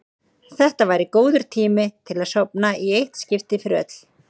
Þetta væri góður tími til að sofna í eitt skipti fyrir öll.